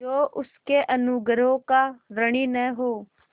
जो उसके अनुग्रहों का ऋणी न हो